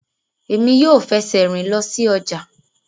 Emi yoo fẹsẹ rin lọ si ọja